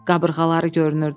Qabırğaları görünürdü.